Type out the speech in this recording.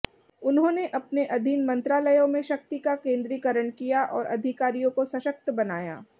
उन्होंने अपने अधीन मंत्रालयों में शक्ति का केंद्रीकरण किया और अधिकारियों को सशक्त बनाया